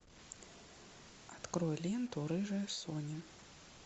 открой ленту рыжая соня